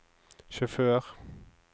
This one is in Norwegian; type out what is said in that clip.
sjåfør